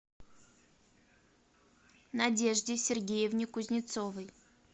надежде сергеевне кузнецовой